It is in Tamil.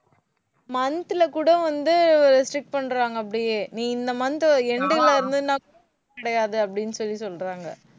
month ல கூட வந்து strict பண்றாங்க அப்படியே. நீ இந்த month end ல இருந்தேன்னா கிடையாது அப்படின்னு சொல்லி சொல்றாங்க.